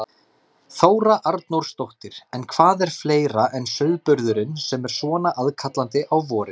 Þóra Arnórsdóttir: En hvað er fleira en sauðburðurinn sem er svona aðkallandi á vorin?